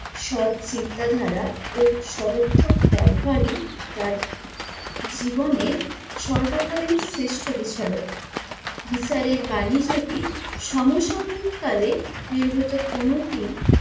সৎ চিন্তাধারা ও সদর্থক ব্যবহারই তার জীবনের সর্বকালীন শ্রেষ্ট বিচারক। বিচারের বাণী যদি সমসাময়িক কালে নির্গত কোনো দিন